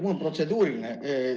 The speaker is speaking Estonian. Mul on protseduuriline küsimus.